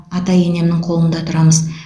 ата енемнің қолында тұрамыз